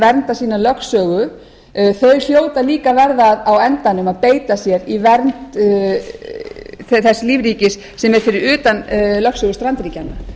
verndar sína lögsögu þau hljóta líka að verða á endanum að beita sér í vernd þess lífríkis sem er fyrir utan lögsögu strandríkjanna